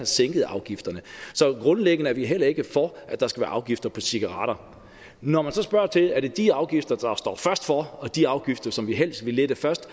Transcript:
sænket afgifterne så grundlæggende er vi heller ikke for at der skal være afgifter på cigaretter når man så spørger til er de afgifter der står først for og de afgifter som vi helst vil lette først